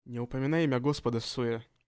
не упоминай имя господа всуе